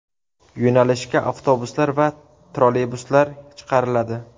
Yo‘nalishga avtobuslar va trolleybuslar chiqariladi.